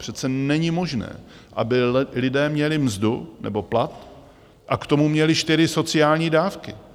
Přece není možné, aby lidé měli mzdu nebo plat a k tomu měli čtyři sociální dávky.